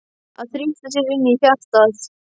Að þrýsta sér inn í hjartað.